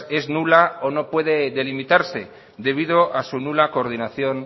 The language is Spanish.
es nula o no puede delimitarse debido a su nula coordinación